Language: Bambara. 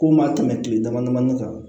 Ko n ma tɛmɛ kile dama damanin kan